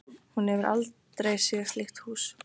Hún hefur aldrei séð slíkt hús.